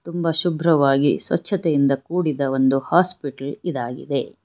ತುಂಬಾ ಶುಭ್ರವಾಗಿ ಸ್ವಚ್ಛತೆಯಿಂದ ಕೂಡಿದ ಒಂದು ಹಾಸ್ಪಿಟಲ್ ಇದಾಗಿದೆ.